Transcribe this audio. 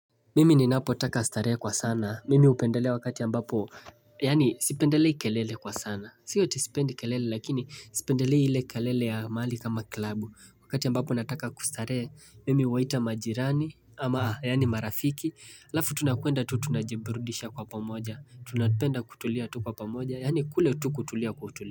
Mimi ninapotaka starehe kwa sana. Mimi hupendelea wakati ambapo. Yaani sipendelei kelele kwa sana. Sio eti sipendi kelele lakini sipendelei ile kelele ya mahali kama club. Wakati ambapo nataka kustarehe. Mimi huwaita majirani ama yaani marafiki. Halafu tunakwenda tu tunajiburudisha kwa pamoja. Tunapenda kutulia tu kwa pamoja. Yaani kule tu kutulia kwa utulivu.